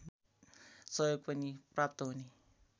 सहयोग पनि प्राप्त हुने